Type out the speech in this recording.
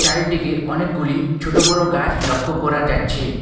চারিদিকে অনেকগুলি ছোট বড়ো গাছ লক্ষ্য করা যাচ্ছে।